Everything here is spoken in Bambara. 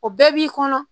O bɛɛ b'i kɔnɔ